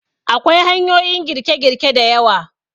Akwai hanyoyin girke-girke da yawa.